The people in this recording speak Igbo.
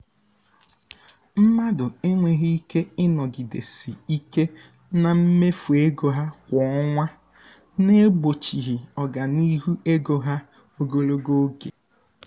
mmadụ enweghị ike ịnọgidesi ike na mmefu ego ha kwa ọnwa na-egbochi ọganihu ego ha ogologo oge.